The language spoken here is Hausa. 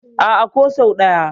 A'a, ko sau ɗaya.